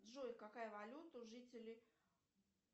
джой какая валюта у жителей